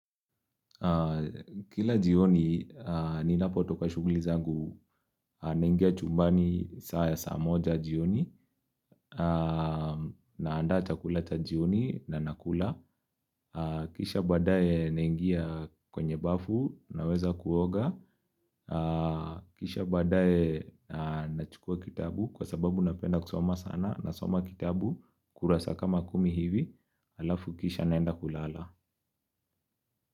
Kila jioni ninapotoka shughuli zangu naingia chumbani saa ya saa moja jioni naanda chakula cha jioni na nakula Kisha baadae naingia kwenye bafu naweza kuoga Kisha baadae nachukua kitabu kwa sababu napenda kusoma sana nasoma kitabu kurasa kama kumi hivi alafu kisha naenda kulala.